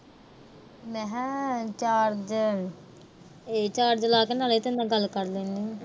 ਮੇਹ charge ਅਹ charge ਲਾ ਕੇ ਤੇਰੇ ਨਾਲ ਗੱਲ ਕਰ ਲੈਂਦੀ ਆ।